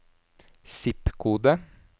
zip-kode